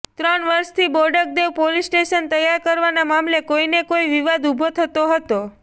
ત્રણ વર્ષથી Bodakdev police station તૈયાર કરવાના મામલે કોઈને કોઈ વિવાદ ઊભો થતો હતો